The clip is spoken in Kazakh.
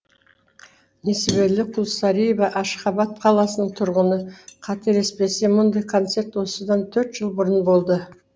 несібелі құлсариева ашхабад қаласының тұрғыны қателеспесем мұндай концерт осыдан төрт жыл бұрын болды